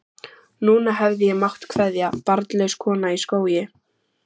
Núna hefði ég mátt kveðja, barnlaus kona í skógi.